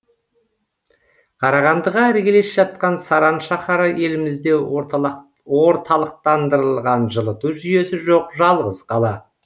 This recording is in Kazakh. қарағандыға іргелес жатқан саран шаһары елімізде орталықтандырылған жылыту жүйесі жоқ жалғыз қала